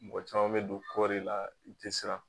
Mɔgɔ caman bɛ don kɔɔri la i tɛ siran